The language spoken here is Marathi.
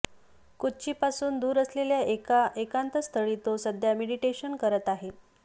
कोच्ची पासून दूर असलेल्या एका एकांत स्थळी तो सध्या मेडिटेशन करत आहे